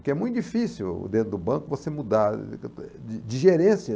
Porque é muito difícil dentro do banco você mudar de de gerência.